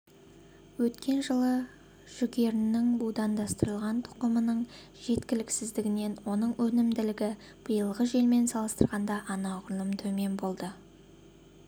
өткен жылы жүгерінің будандастырылған тұқымының жеткіліксіздігінен оның өнімділігі биылғы жылмен салыстырғанда анағұрлым төмен болды